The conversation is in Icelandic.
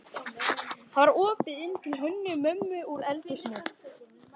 Það var opið inn til Hönnu-Mömmu úr eldhúsinu.